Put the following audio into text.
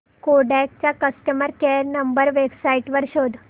Kodak चा customer care number website वर शोध